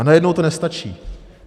A najednou to nestačí.